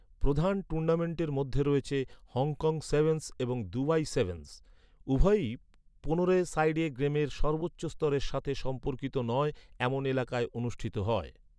প্রধান টুর্নামেন্টের মধ্যে রয়েছে হংকং সেভেনস এবং দুবাই সেভেনস, উভয়ই পনেরো এ সাইড গেমের সর্বোচ্চ স্তরের সাথে সম্পর্কিত নয় এমন এলাকায় অনুষ্ঠিত হয়।